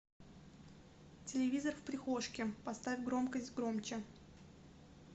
телевизор в прихожке поставь громкость громче